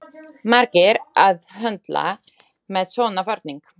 Margir að höndla með svona varning.